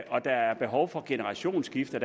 og der er behov for generationsskifter